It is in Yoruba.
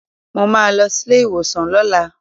Mo máa lọ sílé ìwòsàn lọ́la